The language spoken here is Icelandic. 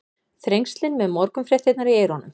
Þrengslin með morgunfréttirnar í eyrunum.